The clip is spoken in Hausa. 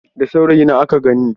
Da saurayina aka ganni.